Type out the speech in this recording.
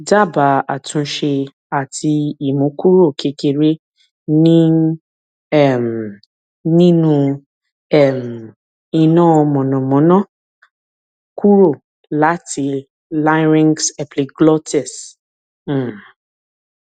dabaa atunse ati imu kuro kekere ni um ninu um ina monamona kuro lati larynxepiglotis um